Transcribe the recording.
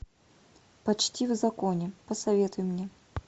почти в законе посоветуй мне